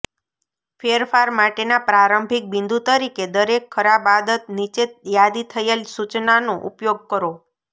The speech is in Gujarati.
ફેરફાર માટેના પ્રારંભિક બિંદુ તરીકે દરેક ખરાબ આદત નીચે યાદી થયેલ સૂચનોનો ઉપયોગ કરો